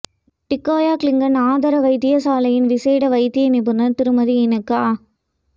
டிக்கோயா கிளங்கன் ஆதார வைத்தியசாலையின் விசேட வைத்திய நிபுணர் திருமதி இனோக்கா